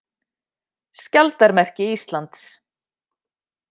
Skjaldarmerki Íslands.